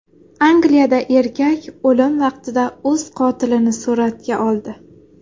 Angliyada erkak o‘lim vaqtida o‘z qotilini suratga oldi.